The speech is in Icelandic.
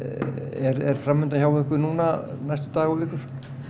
er fram undan hjá ykkur núna næstu daga eða vikur